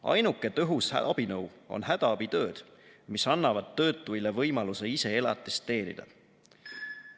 Ainuke tõhus abinõu on hädaabitööd, mis annavad töötuile võimaluse ise elatist teenida.